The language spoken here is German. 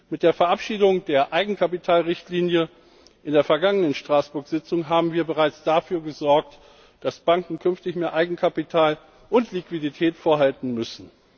Mit der Verabschiedung der Eigenkapitalrichtlinie auf der vergangenen Straßburg Tagung haben wir bereits dafür gesorgt, dass Banken künftig mehr Eigenkapital und Liquidität vorhalten müssen.